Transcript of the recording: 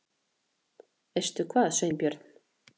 Veistu hvað, Sveinbjörn?